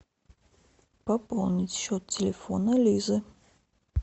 пополнить счет телефона лизы